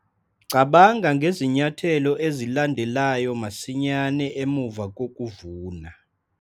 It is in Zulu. Cabanga ngezinyathelo ezilandelayo masinyane emuva kokuvuna.